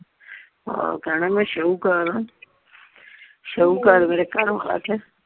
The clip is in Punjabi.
ਆਹੋ ਕਹਿਣਾ ਸ਼ਾਹੂਕਾਰ ਮੈਂਆਂ ਸ਼ਾਹੂਕਾਰ ਮੇਰਾ ਘਰਵਾਲਾ ਤੇ।